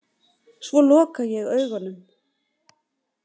Svo loka ég augunum.